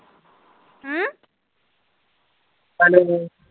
hello